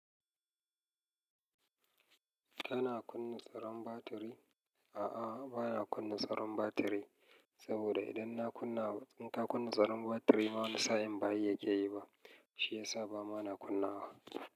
Kana kunna tsaron batiri? A'a, ba na kunna tsaron batiri saboda idan na kunna wa, in ka kunna tsaron batiri ma wani sa'in ba yi ya keyi ba, shi ya sa ba ma na kunna wa.